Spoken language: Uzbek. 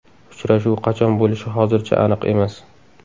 Uchrashuv qachon bo‘lishi hozircha aniq emas.